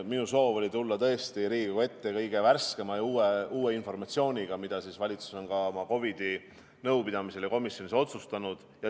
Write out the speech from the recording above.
Minu soov oli tulla tõesti Riigikogu ette kõige värskema ja uuema informatsiooniga, mida valitsus on ka oma COVID-i nõupidamisel ja komisjonis otsustanud.